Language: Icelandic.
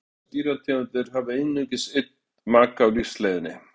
hversu margar dýrategundir hafa einungis einn maka á lífsleiðinni